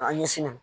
An ɲɛsinnen don